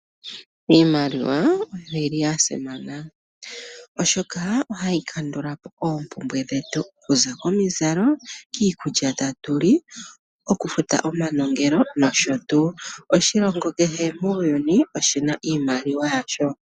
Iimaliwa oyili yasimana oshoka ohayi kandulapo oompumbwe dhetu ngaashi omizalo ,iikulya tatuli , okufuta omanongelo noshotuu. Oshilongo kehe muuyuni oshina iimaliwa yasho.